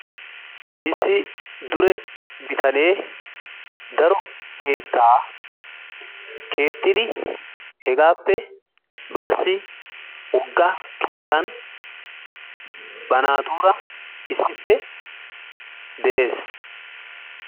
Issi dure bitanee daro keettaa keexxidi hegaappe baasi woogga keettan ba naatura issippe de'ees.